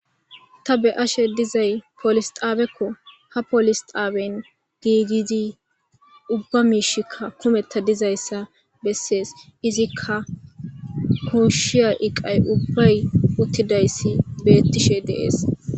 ta be ashe dizay polisxaabekko ha poolisxaaben giigidi ubba miishikka kumetta dizayssa bessees izikka kooshshiya iqay ubbay uttidayssi bettishe deees